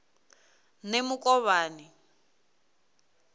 nemukovhani